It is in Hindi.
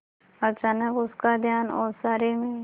अचानक उसका ध्यान ओसारे में